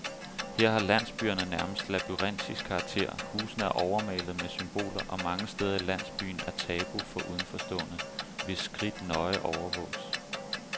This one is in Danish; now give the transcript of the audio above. Her har landsbyerne nærmest labyrintisk karakter, husene er overmalede med symboler, og mange steder i landsbyen er tabu for udenforstående, hvis skridt nøje overvåges.